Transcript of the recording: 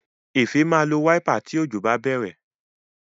Efe má lọ Wáípà tí Òjò bá bèrè.